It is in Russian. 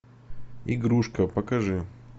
игрушка покажи